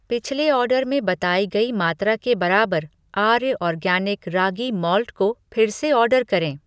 पिछले ऑर्डर में बताई गई मात्रा के बराबर आर्य ऑर्गैनिक रागी माल्ट को फिर से ऑर्डर करें।